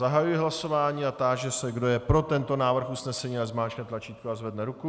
Zahajuji hlasování a táži se, kdo je pro tento návrh usnesení, ať zmáčkne tlačítko a zvedne ruku.